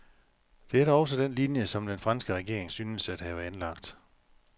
Det er da også den linje, som den franske regering synes at have anlagt.